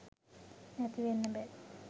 නැති වෙන්න බෑ.